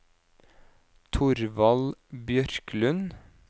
Thorvald Bjørklund